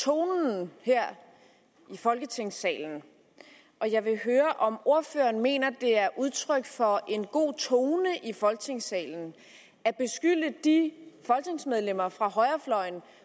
tonen her i folketingssalen og jeg vil høre om ordføreren mener det er udtryk for en god tone i folketingssalen at beskylde de folketingsmedlemmer fra højrefløjen